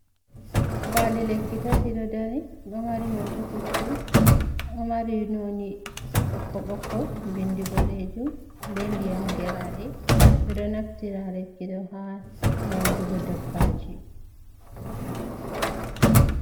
Paali lekki tati ɗo dari, ɗo mari hoto puccu, ɗo mari noni bokko-bokko, bindi boɗeejum be ndiyam geraaɗe ɓe ɗo naftira lekki ɗo ha nyaudugo dabbaji.